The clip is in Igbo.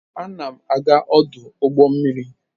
Ana m aga ọdụ ụgbọ mmiri.